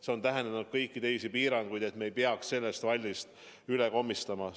See on tähendanud kõiki teisi piiranguid, et me ei peaks sellest vallist üle minema.